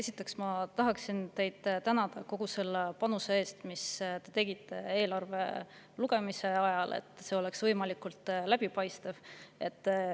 Esiteks, ma tahaksin teid tänada kogu selle panuse eest, mis te tegite eelarve lugemise ajal selleks, et see oleks võimalikult läbipaistev.